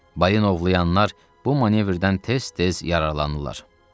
Balin ovlayanlar bu manevrdən tez-tez yararlanırlar.